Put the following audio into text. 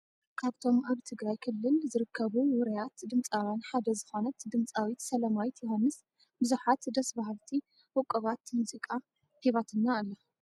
ካብቶም ኣብ ትግራይ ክልል ካብ ኣብ ዝርከቡ ውርያት ዝነኛታት ድምፃውያን ሓደ ዝኮነት ድምፃዊት ሰላማዊት ዮውሃንስ ብዙሓት ደስ ብሃልቲ ውቅባት ሙዚቃ ሂባትና ኣላ።